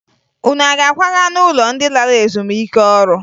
Unu a ga-akwaga n'ụlọ ndị lara ezumike ọrụ?